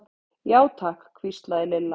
Já, takk hvíslaði Lilla.